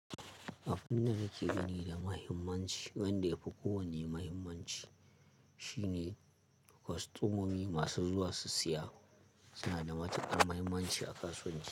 Abin da nake gani da muhimmanci wanda ya fi kowane muhimmanci shine kostomomi masu zuwa su siya suna da matukar muhimmanci a kasuwanci.